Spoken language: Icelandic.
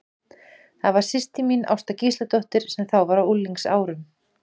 Það var systir mín, Ásta Gísladóttir, sem þá var á unglingsárum.